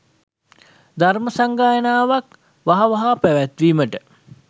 ධර්ම සංගායනාවක් වහවහාම පැවැත්වීමට